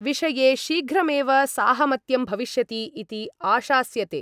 विषये शीघ्रमेव साहमत्यं भविष्यति इति आशास्यते।